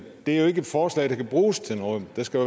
det er jo ikke et forslag der kan bruges til noget der skal